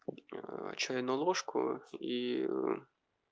чайную ложку ии